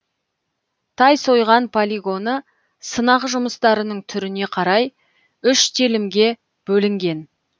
тайсойған полигоны сынақ жұмыстарының түріне қарай үш телімге бөлінген